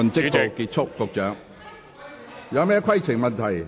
各位議員有甚麼規程問題？